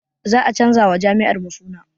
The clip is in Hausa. Za a canza wa jami'ar mu suna